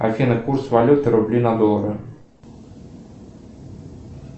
афина курс валюты рубли на доллары